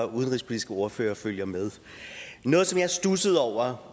udenrigspolitiske ordfører følger med noget som jeg tit studser over